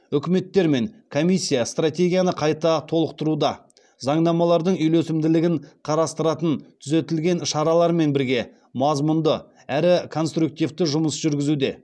үкіметтер мен комиссия стратегияны қайда толықтыруда заңнамалардың үйлесімділігін қарастыратын түзетілген шаралармен бірге мазмұнды әрі конструктивті жұмыс жүргізуде